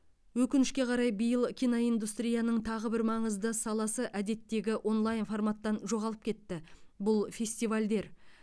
өкінішке қарай биыл киноиндустрияның тағы бір маңызды саласы әдеттегі онлайн форматтан жоғалып кетті бұл фестивальдер